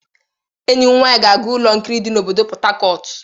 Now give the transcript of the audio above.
Enyi m nwanyi ga-aga ụlọ nkiri dị na obodo Pot Tarcot.